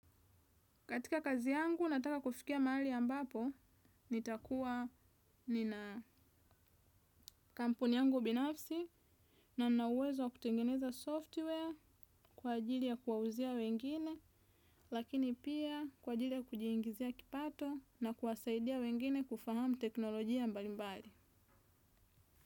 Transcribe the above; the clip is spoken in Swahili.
Katika kazi yangu nataka kufikia mahali ambapo nitakuwa nina kampuni yangu binafsi na ninauwezo wa kutengeneza software kwa ajili ya kuwauzia wengine lakini pia kwa ajili ya kujiingizia kipato na kuwasaidia wengine kufahamu teknolojia mbalimbali.